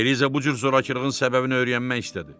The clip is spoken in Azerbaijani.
Beliza bu cür zorakılığın səbəbini öyrənmək istədi.